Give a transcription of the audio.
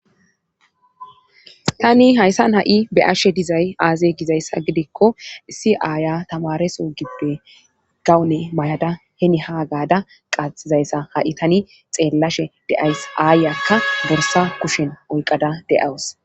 Tani hayssan ha7i be7ashe dizay aazey gizayssa gidikko issi aaya tamareso gibbe gawune may7ada heni haa gaada qaxizayssa ha7i tani xeellashe deays aayakka borsa kushen oyqada de7aws